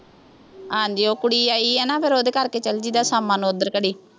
ਹਾਂਜੀ ਉਹ ਕੁੜੀ ਆਈ ਆ ਨੇ ਫੇਰ ਉਹਦੇ ਕਰਕੇ ਚੱਲ ਜਾਈ ਦਾ, ਸ਼ਾਮਾਂ ਨੂੰ ਉੱਧਰ ਘੜੀ